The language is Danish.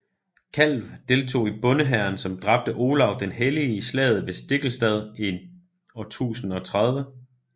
Kalv deltog i bondehæren som dræbte Olav den hellige i slaget ved Stiklestad i 1030